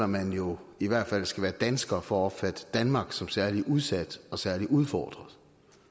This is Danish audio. man jo i hvert fald skal være dansker for at opfatte danmark som særlig udsat og særlig udfordret